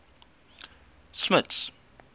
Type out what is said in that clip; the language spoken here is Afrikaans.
smuts